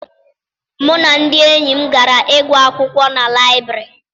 Mụ na ndị enyi m gara ịgụ akwụkwọ na liburary.